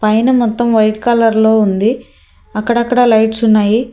పైన మొత్తం white colour లో ఉంది అక్కడక్కడ లైట్స్ ఉన్నాయి.